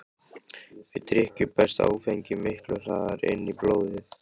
Við drykkju berst áfengi miklu hraðar inn í blóðið.